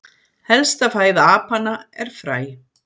helsta fæða apanna er fræ